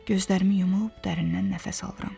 Gözlərimi yumub dərindən nəfəs alıram.